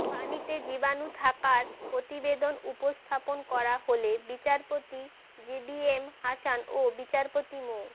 পানিতে জীবাণু থাকার প্রতিবেদন উপস্থাপন করা হলে বিচারপতি জেবিএম হাসান ও বিচারপতি মো